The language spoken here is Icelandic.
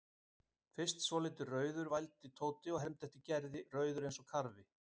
Fyrst svolítið rauður vældi Tóti og hermdi eftir Gerði, rauður eins og karfi.